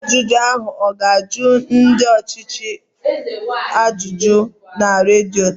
Ọgba njụ ahụ ọ ga-ajụ ndị ọchịchị ajụjụ na redio taa?